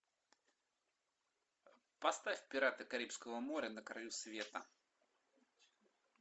поставь пираты карибского моря на краю света